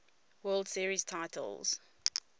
world series titles